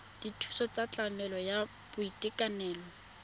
dithuso tsa tlamelo ya boitekanelo